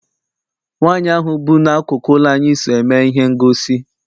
Nwaanyi ahụ bu n'akụkụ ụlọ anyị so eme ihe ngosi.